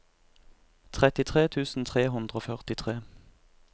trettitre tusen tre hundre og førtitre